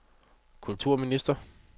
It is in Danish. kulturminister